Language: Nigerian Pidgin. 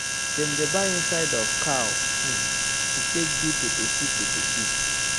dem dey buy inside of cow um to take do peppersoup peppersoup